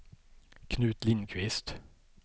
Knut Lindkvist